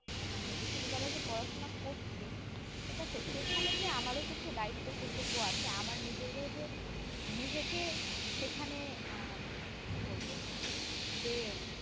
মানে বিশ্ববিদ্যালয়ে যে পড়াশোনা করছি ঠিক আছে সেখানে যে আমারো কিছু দায়িত্ব কর্তব্য আছে আমার নিজেরও যে নিজেকে সেখানে আহ কি বলবো যে